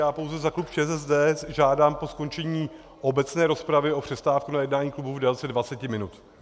Já pouze za klub ČSSD žádám po skončení obecné rozpravy o přestávku na jednání klubu v délce 20 minut.